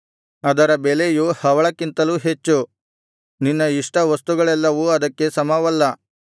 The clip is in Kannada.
ಅದರ ಬೆಲೆಯು ಹವಳಕ್ಕಿಂತಲೂ ಹೆಚ್ಚು ನಿನ್ನ ಇಷ್ಟವಸ್ತುಗಳೆಲ್ಲವೂ ಅದಕ್ಕೆ ಸಮವಲ್ಲ